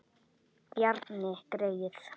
Bjarni greyið!